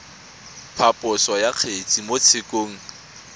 phaposo ya kgetse mo tshekong